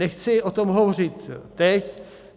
Nechci o tom hovořit teď.